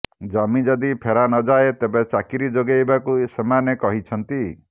ଜମି ଯଦି ଫେରାନଯାଏ ତେବେ ଚାକିରି ଯୋଗାଇବାକୁ ସେମାନେ କହିଛନ୍ତି